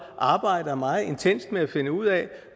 arbejder meget intenst med at finde ud af